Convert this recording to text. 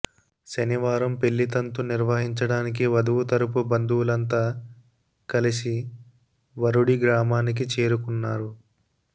శనివారం పెళ్లి తంతు నిర్వహించడానికి వధువు తరుపు బంధువులంతా కలిసి వరుడి గ్రామానికి చేరుకున్నారు